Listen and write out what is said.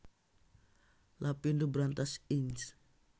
Lapindo Brantas Inc